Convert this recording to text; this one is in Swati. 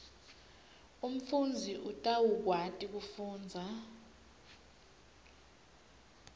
umfundzi utawukwati kufundza